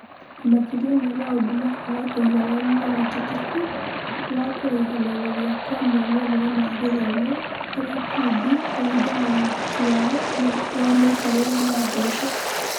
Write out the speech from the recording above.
Makĩria wa maũndũ ma kũaga ũigananu na ũhotekeku wa kũraihanĩrĩria kwa moimĩrĩra ma gĩthomo harĩ ikundi kũringana na ũhoti wao wa mĩikarĩre na mbeca.